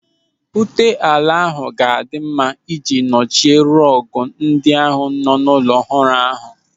Ute ala ahụ ga-adị mma ị ji nochie rọọgụ ndị nọ n'ụlọ ọrụ ọhụrụ ahụ.